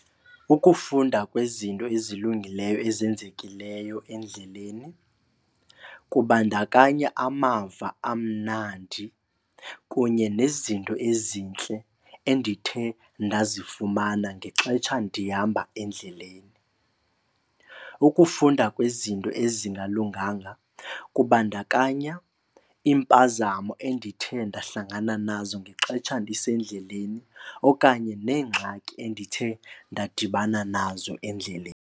Ukufunda kwezinto ezilungileyo ezenzekileyo endleleni kubandakanya amava amnandi kunye nezinto ezintle endithe ndazifumana ngexetsha ndihamba endleleni. Ukufunda kwezinto ezingalunganga kubandakanya iimpazamo endithe ndahlangana nazo ngexetsha ndisendleleni okanye neengxaki endithe ndadibana nazo endleleni.